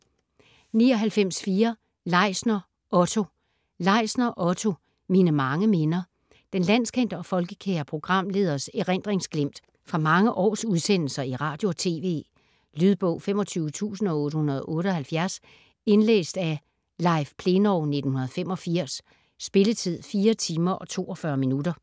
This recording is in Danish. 99.4 Leisner, Otto Leisner, Otto: Mine mange minder Den landskendte og folkekære programleders erindringsglimt fra mange års udsendelser i radio og tv. Lydbog 25878 Indlæst af Leif Plenov, 1985. Spilletid: 4 timer, 42 minutter.